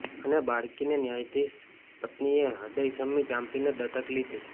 અને બાળકીને ન્યાયાધીશ પત્નીએ હદયસમી ચાંપીને દત્તક લીધી